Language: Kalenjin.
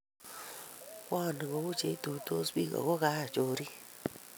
kwoni kou cheituisot biik ako kaa chorik